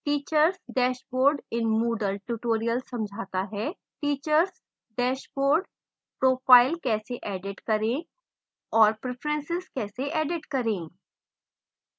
teachers dashboard in moodle tutorial समझाता है